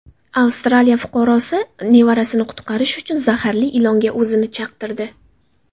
Avstraliya fuqarosi nevarasini qutqarish uchun zaharli ilonga o‘zini chaqtirdi.